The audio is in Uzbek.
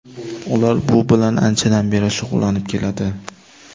Ular bu bilan anchadan beri shug‘ullanib keladi.